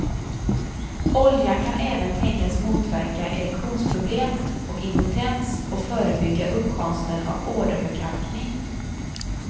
Oljan kan även tänkas motverka erektionsproblem och impotens och förebygga uppkomsten av åderförkalkning.